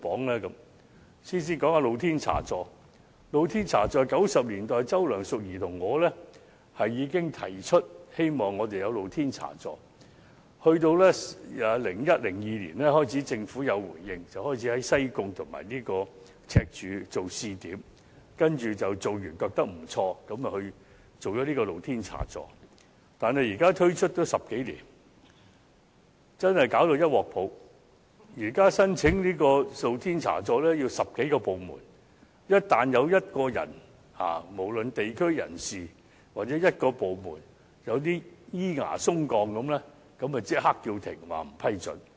我和周梁淑怡在1990年代已經提出希望有露天茶座，到2001年至2002年，政府開始回應，以西貢和赤柱作為試點，試行後認為效果不錯，於是便推出露天茶座；但自開始推行至今10多年，卻弄得一團糟，現時申請經營露天茶座要經過10多個部門，只要有1人反對，無論是否地區人士，又或只要1個部門反對，對茶座稍有意見，申請便立即叫停，不予批准。